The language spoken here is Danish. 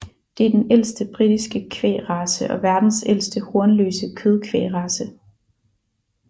Det er den ældste britiske kvægrace og verdens ældste hornløse kødkvægrace